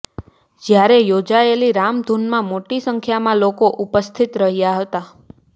જ્યાં યોજાયેલી રામધૂનમાં મોટી સંખ્યામાં લોકો ઉપસ્થિત રહ્યા હતા